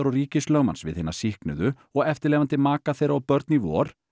og ríkislögmanns við hina sýknuðu og eftirlifandi maka þeirra og börn í vor